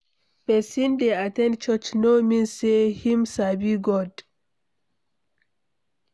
Persin de at ten d church no mean say him sabi God